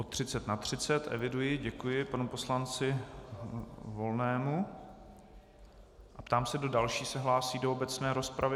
O 30 na 30, eviduji, děkuji panu poslanci Volnému a ptám se, kdo další se hlásí do obecné rozpravy.